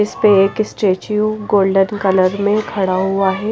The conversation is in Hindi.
इस पे एक स्टैचू गोल्डन कलर में खड़ा हुआ है।